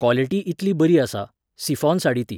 Quality इतली बरी आसा, सिफॉन साडी ती.